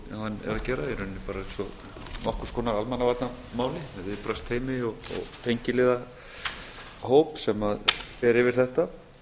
hann er að gera í rauninni bara eins og nokkurs konar almannavarnamáli með viðbragðsteymi og tengiliðahóp sem fer yfir þetta